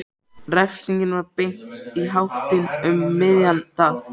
Refsingin var beint í háttinn um miðjan dag.